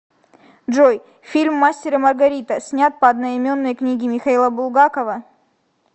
джой фильм мастер и маргарита снят по одноименнои книге михаила булгакова